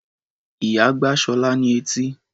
Ìyá gbá Ṣọlá ní etí.